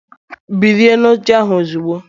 Bilie n'oche ahụ ozugbo!